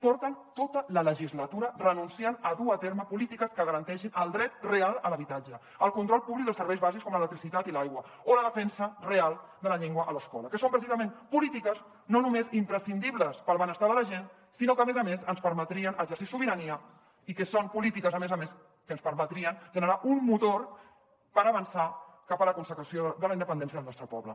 porten tota la legislatura renunciant a dur a terme polítiques que garanteixin el dret real a l’habitatge el control públic dels serveis bàsics com l’electricitat i l’aigua o la defensa real de la llengua a l’escola que són precisament polítiques no només imprescindibles per al benestar de la gent sinó que a més a més ens permetrien exercir sobirania i que són polítiques a més a més que ens permetrien generar un motor per avançar cap a la consecució de la independència del nostre poble